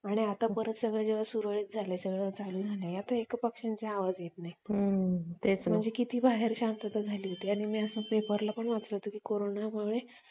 आणि आता परत जेव्हा सगळं सुरळीत झालं सगळं चालू झालं तर आता एका पक्षांचे आवाज येत नाही तेच मग किती बाहेर शांतता झाली होती आणि मी असं पेपरला पण वाचलं होतं Corona मुळे